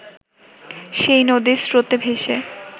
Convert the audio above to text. সেই নদীর স্রোতে ভেসে